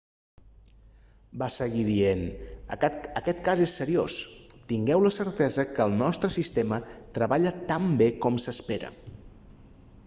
va seguir dient aquest cas és seriós tingueu la certesa que el nostre sistema treballa tan bé com s'espera